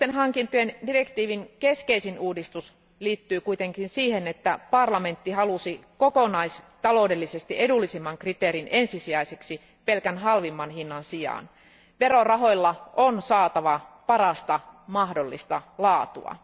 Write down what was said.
Julkisten hankintojen direktiivin keskeisin uudistus liittyy kuitenkin siihen, että parlamentti halusi kokonaistaloudellisesti edullisimman kriteerin ensisijaiseksi pelkän halvimman hinnan sijaan. Verorahoilla on saatava parasta mahdollista laatua.